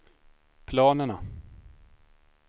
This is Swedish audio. planerna